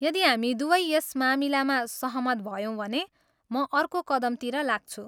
यदि हामी दुवै यस मामिलामा सहमत भयौँ भने, म अर्को कदमतिर लाग्छु।